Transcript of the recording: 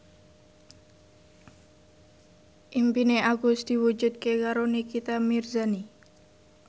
impine Agus diwujudke karo Nikita Mirzani